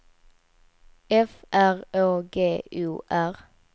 F R Å G O R